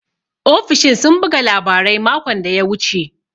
Ofishin sun buga labarai makon da ya wuce.